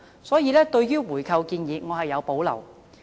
所以，對於回購的建議，我是有保留的。